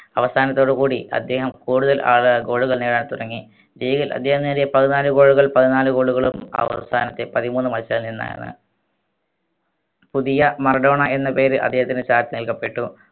അവസാനത്തോട് കൂടി അദ്ദേഹം കൂടുതൽ ആളാ goal നേടാൻ തുടങ്ങി league ൽ അദ്ദേഹം നേടിയ പതിനാല് goal കൾ പതിനാല് goal കളും അവസാനത്തെ പതിമൂന്ന് മത്സരനിന്നാണ് പുതിയ മറഡോണ എന്ന പേര് അദ്ദേഹത്തിന് ചാൾസ് നൽകപ്പെട്ടു